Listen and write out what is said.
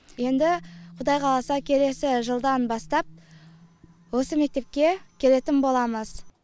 енді құдай қаласа келесі жылдан бастап осы мектепке келетін боламыз